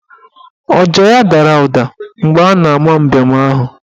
Ọja ya dara ụda mgbe a na ama mbem ahụ